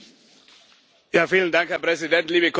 Herr Präsident, liebe Kolleginnen und liebe Kollegen.